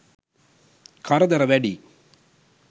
කරදර වැඩියි.